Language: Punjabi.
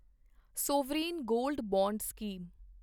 sovereign gold bond scheme